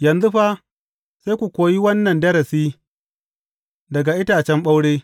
Yanzu fa, sai ku koyi wannan darasi daga itacen ɓaure.